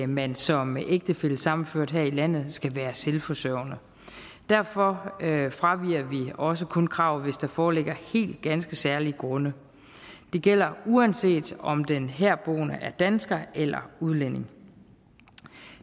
man som ægtefællesammenført her i landet skal være selvforsørgende derfor fraviger vi også kun kravet hvis der foreligger helt ganske særlige grunde det gælder uanset om den herboende er dansker eller udlænding